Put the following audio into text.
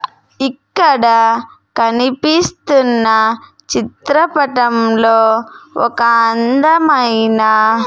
ఇక్కడ కనిపిస్తున్న చిత్రపటంలో ఒక అందమైన--